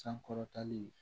Sankɔrɔtali